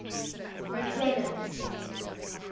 mcclennan's